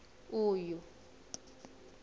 uyu